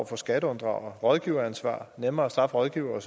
for skatteunddragere rådgiveransvar at nemmere at straffe rådgivere og